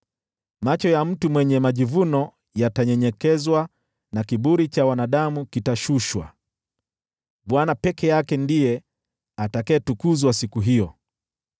Macho ya mtu mwenye majivuno yatanyenyekezwa na kiburi cha wanadamu kitashushwa, Bwana peke yake ndiye atakayetukuzwa siku hiyo.